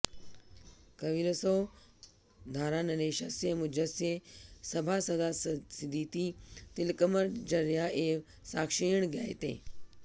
कविरसौ धारानरेशस्य मुञ्जस्य सभासदासीदिति तिलकमञ्जर्या एव साक्ष्येण ज्ञायते